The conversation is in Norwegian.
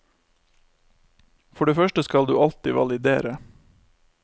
For det første skal du alltid validere.